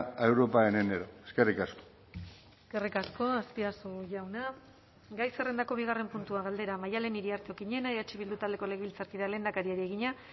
a europa en enero eskerrik asko eskerrik asko azpiazu jauna gai zerrendako bigarren puntua galdera maddalen iriarte okiñena eh bildu taldeko legebiltzarkideak lehendakariari egina